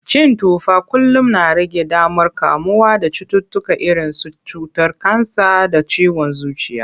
Cin tufa kullum na rage damar kamuwa da cututtuka irinsu cutar kansa da ciwon zuciya.